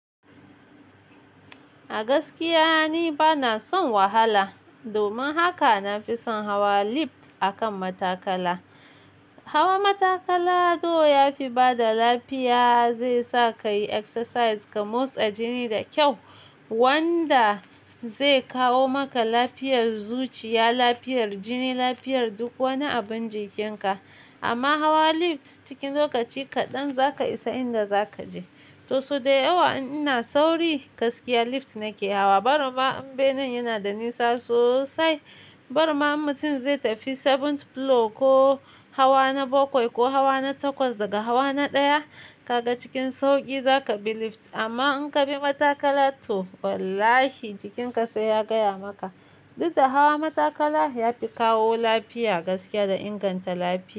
A gaskiya ni bana son wahala. Domin haka na fi son hawa lift akan matakala. Hawa matakala to ya fi bada lafiya. Zai sa ka yi exercise ka motsa jini da kyau wanda zai kawo maka lafiyar zuciya, lafiyar jini, lafiyar duk wani abun jikinka. Amma hawa lift cikin lokaci kaɗan za ka isa inda za ka je. To so da yawa ina sauri gaskiya lift nake hawa. Barama in bene yana da nisa sosai. Barama mutum zai tafi seventh floor ko hawa na bakwai ko hawa na takwas daga hawa na ɗaya. Kaga cikin sauƙi za ka bi lift amma in ka bi matakala to wallahi jikinka sai ya gaya maka. Dukda hawa matakala ya fi kawo lafiya gaskiya da inganta lafiya.